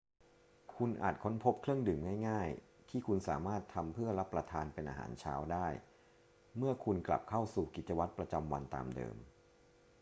คุณอาจค้นพบเครื่องดื่มง่าย ๆ ที่คุณสามารถทำเพื่อรับประทานเป็นอาหารเช้าได้เมื่อคุณกลับเข้าสู่กิจวัตรประจำวันตามเดิม